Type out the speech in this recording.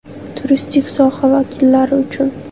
Turistik soha vakillari uchun .